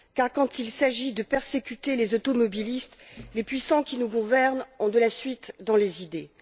Quand il s'agit de persécuter les automobilistes, les puissants qui nous gouvernent ont de la suite dans les idées.